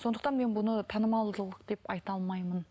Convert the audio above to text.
сондықтан мен бұны танымалдылық деп айта алмаймын